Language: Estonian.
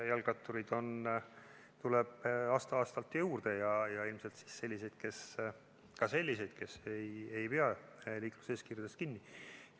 Jalgrattureid tuleb aasta-aastalt juurde ja ilmselt ka selliseid, kes ei pea liikluseeskirjast kinni.